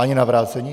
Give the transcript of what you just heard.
Ani na vrácení?